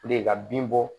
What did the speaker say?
ka bin bɔ